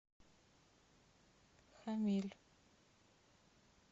хамиль